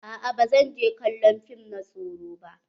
A'a ba zan je kallon fim na tsoro ba.